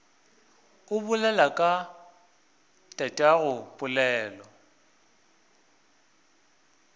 o bolela ka tatago pelo